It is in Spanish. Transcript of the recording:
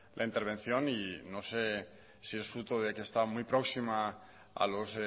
la intervención y no sé si es fruto de que está muy próxima a los